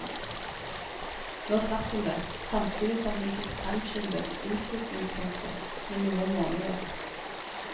Nå slapp hun det, samtidig som hun fikk fremskyndet innflytningstidspunktet med noen måneder.